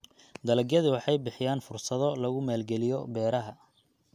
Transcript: Dalagyadu waxay bixiyaan fursado lagu maalgaliyo beeraha.